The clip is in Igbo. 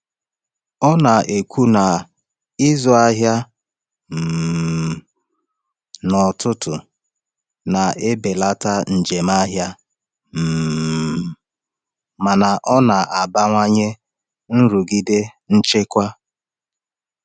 Ọ na-ekwu na ịzụ ahịa um n’ọtụtù na-ebelata njem ahịa um mana ọ na-abawanye nrụgide nchekwa.